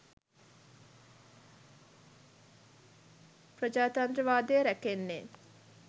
ප්‍රජාතන්තර වාදය රැකෙන්නේ.